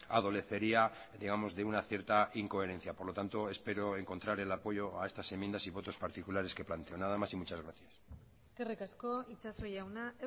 adolecería digamos de una cierta incoherencia por lo tanto espero encontrar el apoyo a estas enmiendas y votos particulares que planteo nada más y muchas gracias eskerrik asko itxaso jauna